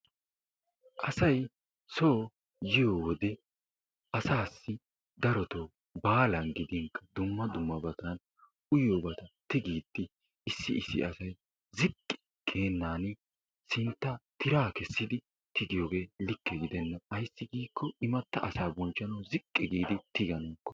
Asay soo yiyo wode asaassi darotoo baalan gidinkka dumma dummabata uyiyobaa tigiiddi issi issi asay ziqqi geennan sinttawu tiraa kessidi tigiyogee likke gidenna. Ayssi giikko imatta asaa bonchvhanawu ziqqi giid,,,